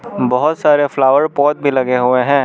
बहोत सारे flower pot भी लगे हुए हैं।